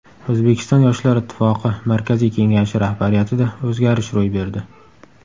O‘zbekiston Yoshlar Ittifoqi Markaziy kengashi rahbariyatida o‘zgarish ro‘y berdi.